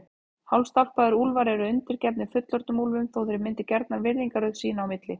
Hálfstálpaðir úlfar eru undirgefnir fullorðnum úlfum þótt þeir myndi gjarnan virðingarröð sín á milli.